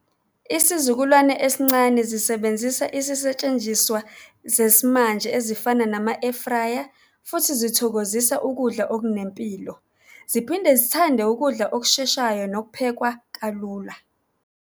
Isizukulwane esincane zisebenzisa isisetshenjiswa zesimanje ezifana nama-air fryer, futhi zithokozisa ukudla okunempilo, ziphinde zithande ukudla okusheshayo nokuphekwa kalula.